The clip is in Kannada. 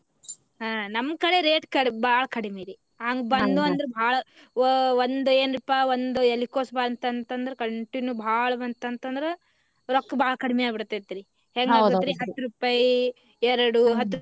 ಹಾ ನಮ್ ಕಡೆ rate ಕಡಿ ಬಾಳ ಕಡಿಮಿ ರಿ ಹಂಗ್ ಬಂದು ಅಂದ್ರ ಬಾಳ ವ~ ಒಂದ ಎನಪಾ ಒಂದ ಎಲಿಕೊಸ ಬಂತಂತ ಅಂದ್ರ continue ಬಾಳ ಬಂತ ಅಂದ್ರ ರೊಕ್ಕ ಬಾಳ ಕಡಿಮಿ ಆಗಿ ಬಿಡ್ತೇತಿ ರಿ ಹೆಂಗ ಅಕ್ಕೆತ್ರಿ ಹತ್ತ್ ರೂಪಾಯಿ ಎರಡು.